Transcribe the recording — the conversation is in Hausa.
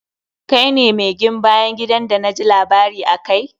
Kai ne mi gin bayan gidan d na ji labari akai.